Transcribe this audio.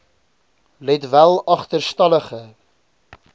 let wel agterstallige